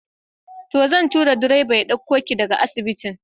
To, zan turo direba ya ɗauko ki daga asibitin.